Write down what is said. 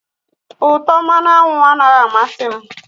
Utọ mmanụ aṅụ anaghị amasị m